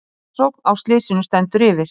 Rannsókn á slysinu stendur yfir